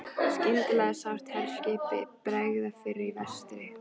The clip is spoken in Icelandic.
Skyndilega sást herskipi bregða fyrir í vestri.